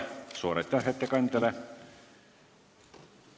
Suur aitäh ettekandjale!